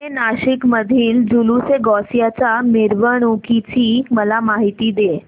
जुने नाशिक मधील जुलूसएगौसिया च्या मिरवणूकीची मला माहिती दे